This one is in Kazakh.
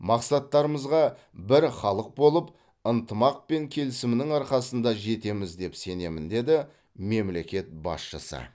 мақсаттарымызға бір халық болып ынтымақ пен келісімнің арқасында жетеміз деп сенемін деді мемлекет басшысы